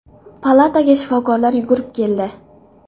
Palataga shifokorlar yugurib keldi.